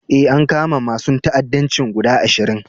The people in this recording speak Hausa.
Eh, an kama masun ta'addanci guda ashirin.